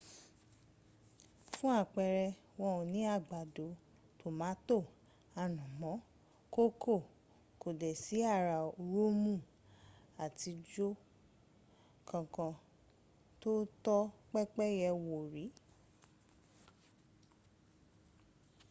fún àpẹrẹ wọn ò ní àgbàdo tomato ànàmọ́ kòkó kò dẹ̀ sí ará roomu àtijọ́ kan kan tó tọ́ pẹ́pẹ́yẹ wò rí